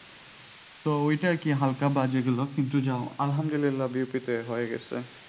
তো ওই টা আর কি হালকা বাজে গেল কিন্তু আলহামদুলিল্লাহ বিউপিতে হয়ে গেছে।